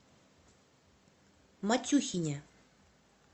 матюхине